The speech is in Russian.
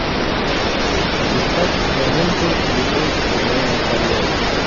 искать киноленту любовь во время холеры